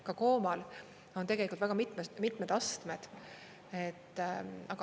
Ka koomal on tegelikult väga mitmed astmed.